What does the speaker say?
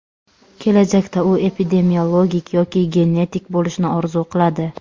Kelajakda u epidemiolog yoki genetik bo‘lishni orzu qiladi.